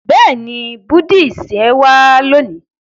béèni Buddhist yén wa loni.